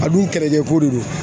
A dun kɛlɛkɛko de don